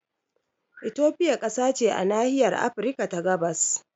Ethiopia kasa ce a nahiyar Afirka ta gabas